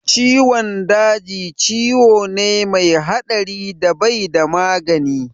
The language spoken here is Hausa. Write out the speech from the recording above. Ciwon daji ciwo ne mai haɗari da bai da magani